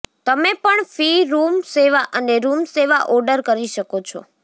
તમે પણ ફી રૂમ સેવા અને રૂમ સેવા ઓર્ડર કરી શકો છો